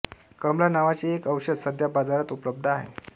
कमला नावाचे एक औषध सध्या बाजारात उपलब्ध आहे